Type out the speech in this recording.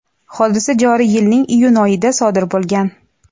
hodisa joriy yilning iyun oyida sodir bo‘lgan.